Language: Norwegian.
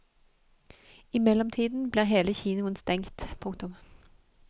I mellomtiden blir hele kinoen stengt. punktum